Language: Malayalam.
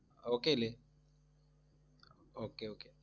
okay അല്ലേ? okay okay